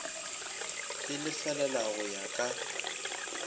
e lefelela go ya ka